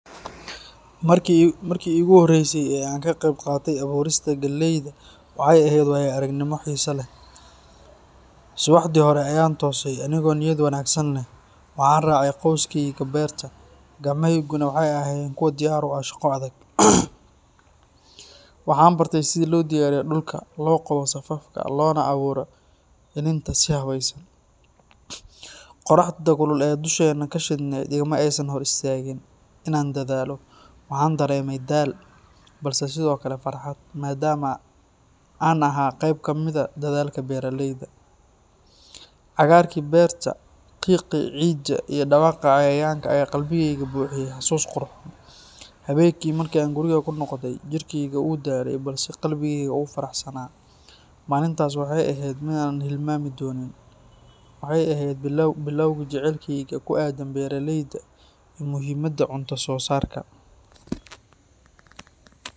Markii ugu horreysay ee aan ka qeyb qaatay abuurista galleyda waxay ahayd waayo-aragnimo xiiso leh. Subaxii hore ayaan toosay anigoo niyad wanaagsan leh. Waxaan raacay qoyskayga beerta, gacmahayguna waxay ahaayeen kuwo diyaar u ah shaqo adag. Waxaan bartay sida loo diyaariyo dhulka, loo qodo safafka, loona abuuro iniinta si habeysan. Qorraxda kulul ee dusheenna ka shidneyd igama aysan hor istaagin inaan dadaalo. Waxaan dareemay daal, balse sidoo kale farxad, maadaama aan ahaa qayb ka mid ah dadaalka beeraleyda. Cagaarkii beerta, qiiqii ciidda, iyo dhawaaqa cayayaanka ayaa qalbigayga buuxiyay xasuus qurxoon. Habeenkii markii aan guriga ku noqday, jirkeyga wuu daalay balse qalbigeyga wuu faraxsanaa. Maalintaas waxay ahayd mid aanan hilmaami doonin. Waxay ahayd bilowgii jacaylkayga ku aaddan beeraleyda iyo muhiimadda cunto-soosaarka.